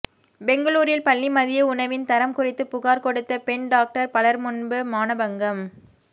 பெங்களூரில் பள்ளி மதிய உணவின் தரம் குறித்து புகார் கொடுத்த பெண் டாக்டர் பலர் முன்பு மானபங்கம்